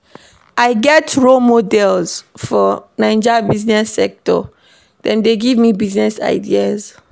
I get role models for Naija business sector, dem dey give me business ideas.